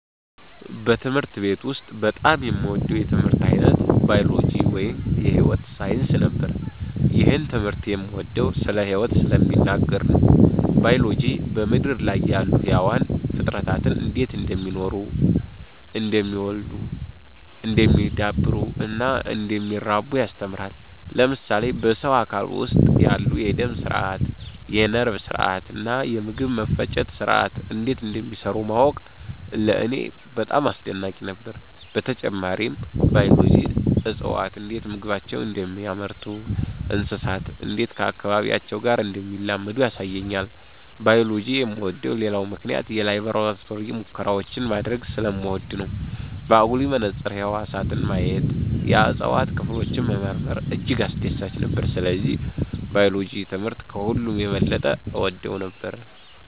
በትምህርት ቤት ውስጥ በጣም የምወደው የትምህርት ዓይነት ባዮሎጂ (የሕይወት ሳይንስ) ነበር። ይህን ትምህርት የምወደው ስለ ሕይወት ስለሚናገር ነው። ባዮሎጂ በምድር ላይ ያሉ ሕያዋን ፍጥረታት እንዴት እንደሚኖሩ፣ እንደሚ� oddሉ፣ እንደሚዳብሩ እና እንደሚራቡ ያስተምረናል። ለምሳሌ በሰው አካል ውስጥ ያሉ የደም ሥርዓት፣ የነርቭ ሥርዓት እና የምግብ መፈጨት ሥርዓት እንዴት እንደሚሠሩ ማወቅ ለእኔ በጣም አስደናቂ ነበር። በተጨማሪም ባዮሎጂ እፅዋት እንዴት ምግባቸውን እንደሚያመርቱ፣ እንስሳት እንዴት ከአካባቢያቸው ጋር እንደሚላመዱ ያሳየኛል። ባዮሎጂ የምወደው ሌላው ምክንያት የላቦራቶሪ ሙከራዎችን ማድረግ ስለምወድ ነው። በአጉሊ መነጽር ህዋሳትን ማየት፣ የእጽዋት ክፍሎችን መመርመር እጅግ አስደሳች ነበር። ስለዚህ ባዮሎጂ ትምህርት ከሁሉ የበለጠ እወደው ነበር።